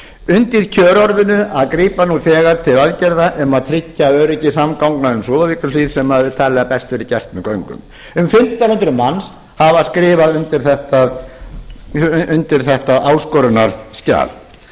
undir kjörorðinu að grípa nú þegar til aðgerða um að tryggja öryggi samgangna um súðavíkurhlíð sem talið er að best verði gert með göngum um fimmtán hundruð manns hafa skrifað undir þetta áskorunarskjal frú forseti